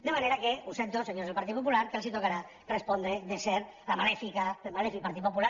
de manera que ho sento senyors del partit popular que els tocarà respondre de ser el malèfic partit popular